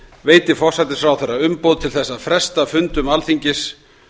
veiti forsætisráðherra umboð til þess að fresta fundum alþingis